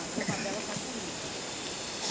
A cama dela tá comigo.